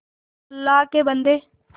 अल्लाह के बन्दे